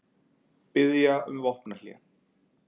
Biðja um vopnahlé